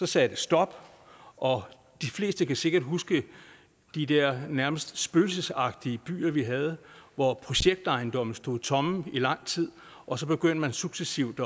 sagde det stop og de fleste kan sikkert huske de der nærmest spøgelsesagtige byer vi havde hvor projektejendomme stod tomme i lang tid og så begyndte man successivt